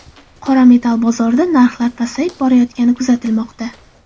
Qora metall bozorida narxlar pasayib borayotgani kuzatilmoqda.